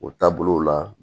O taabolow la